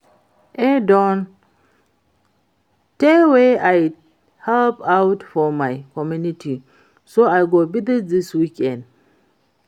E don tey wey I help out for my community so I go visit dis weekend